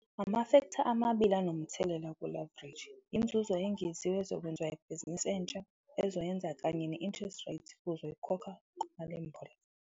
Amafektha amabili anomthelela ku-leverage inzuzo engeziwe ezokwenziwa yibhizinisi entsha ezoyenza kanye ne-interest rate uzoyikhokha kumalimboleko.